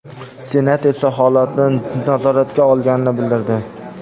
Senat esa holatni nazoratga olganini bildirdi .